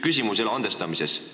Küsimus ei ole andestamises.